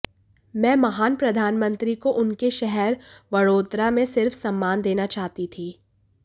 मैं महान प्रधानमंत्री को उनके शहर वड़ोदरा में सिर्फ सम्मान देना चाहती थी